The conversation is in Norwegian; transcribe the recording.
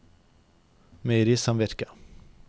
meierisamvirket